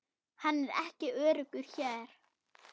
Hann er ekki öruggur hér